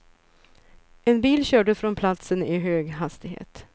En bil körde från platsen i hög hastighet.